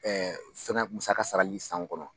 fɛNKɛ musaka saraLi san kɔnɔ